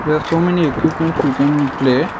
here so many equipments we can play.